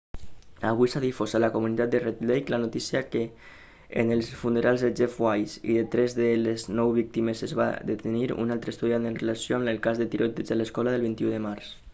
avui s'ha difós a la comunitat de red lake la notícia que en els funerals de jeff weise i de tres de les nou víctimes es va detenir un altre estudiant en relació amb el cas del tiroteig a l'escola el 21 de març